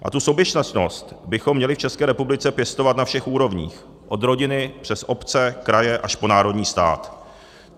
A tu soběstačnost bychom měli v České republice pěstovat na všech úrovních, od rodiny přes obce, kraje až po národní stát.